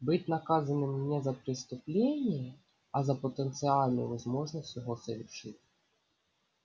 быть наказанным не за преступление а за потенциальную возможность его совершить